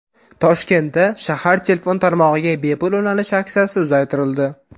Toshkentda shahar telefon tarmog‘iga bepul ulanish aksiyasi uzaytirildi.